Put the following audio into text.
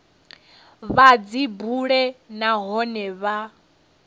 vha dzi bule nahone vha